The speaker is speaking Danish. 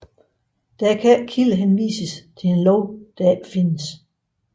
Der kan ikke kildehenvises til en lov der ikke findes